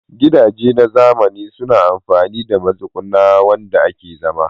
Gidaje na zamani suna amfani da matsuguna wanda ake zama